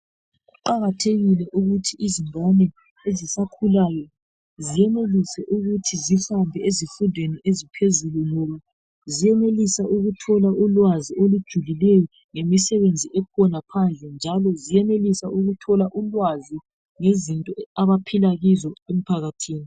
Kuqakathekile ukuthi izingane ezisakhulayo zenelise ukuthi zihambe ezifundweni eziphezulu ngoba zenelisa ukuthola ulwazi olujulileyo lemisebenzi ekhona phandle njalo senelise ukuthola ulwazi ngezinto abaphila kizo emphakathini